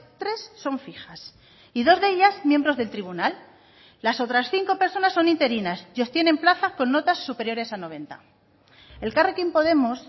tres son fijas y dos de ellas miembros del tribunal las otras cinco personas son interinas y obtienen plaza con notas superiores a noventa elkarrekin podemos